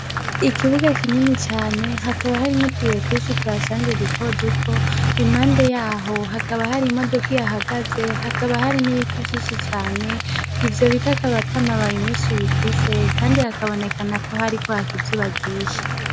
Ikibuga kinini cane, hakaba harimwo utubuye twinshi tuhashanje duto duto, impande yaho hakaba hari imodoka ihahagaze hakaba hari n’ibiti vyinshi cane, ivyo biti akaba atamababi menshi bifise Kandi hakabonekanako hariko haka izuba ryinshi.